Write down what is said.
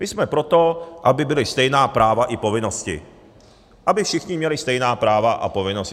My jsme pro to, aby byla stejná práva i povinnosti, aby všichni měli stejná práva a povinnosti.